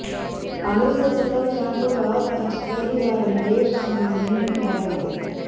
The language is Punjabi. ਕਾਂਗਰਸ ਦੇ ਸੱਤਾ ਵਿੱਚ ਆਉਣ ਤੋਂ ਬਾਅਦ ਅੱਜ ਪਹਿਲੀ ਵਾਰ ਨਿਵੇਸ਼ ਸੰਮੇਲਨ ਕਰਵਾਇਆ ਗਿਆ ਹੈ